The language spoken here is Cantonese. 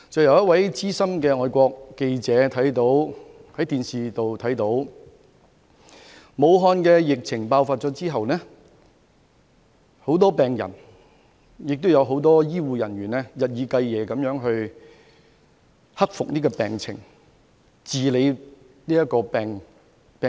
有一位資深外國記者在電視上看到武漢疫情爆發後，很多病人及醫護人員日以繼夜地希望克服病情，醫治病人。